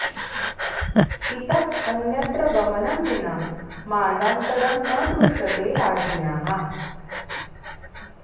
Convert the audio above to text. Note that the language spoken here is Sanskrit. इतः अन्यत्र गमनं विना मार्गान्तरं न दृश्यते राज्ञ्याः